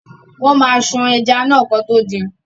Wọ́n ma ṣan ẹja náà kán tó din.